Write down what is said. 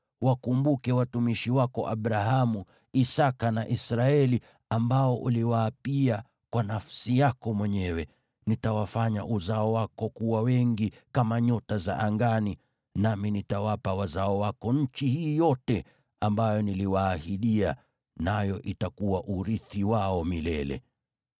Wakumbuke watumishi wako Abrahamu, Isaki na Israeli, ambao uliwaapia kwa nafsi yako mwenyewe: ‘Nitawafanya uzao wako kuwa wengi kama nyota za angani, nami nitawapa wazao wako nchi hii yote ambayo niliwaahidia, nayo itakuwa urithi wao milele.’ ”